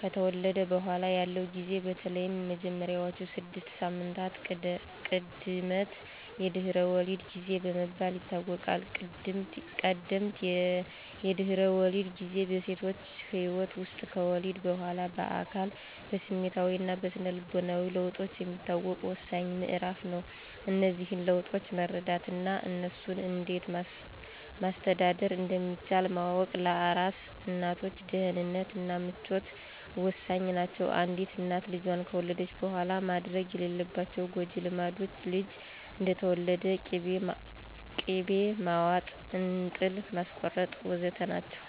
ከተወለደ በኋላ ያለው ጊዜ በተለይም የመጀመሪያዎቹ ስድስት ሳምንታት ቀደምት የድህረ ወሊድ ጊዜ በመባል ይታወቃል። ቀደምት የድህረ ወሊድ ጊዜ በሴቶች ህይወት ውስጥ ከወሊድ በኋላ በአካል፣ በስሜታዊ እና በስነ ልቦና ለውጦች የሚታወቅ ወሳኝ ምዕራፍ ነው። እነዚህን ለውጦች መረዳት እና እነሱን እንዴት ማስተዳደር እንደሚቻል ማወቅ ለአራስ እናቶች ደህንነት እና ምቾት ወሳኝ ናቸው። አንዲት እናት ልጇን ከወለደች በኋላ መደረግ የሌለባቸው ጎጅ ልማዶች፣ ልጁ እንደተወለደ ቅቤ ማዋጥ፣ እንጥል ማስቆረጥ... ወ.ዘ.ተ. ናቸው።